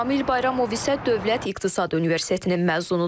Amil Bayramov isə Dövlət İqtisad Universitetinin məzunudur.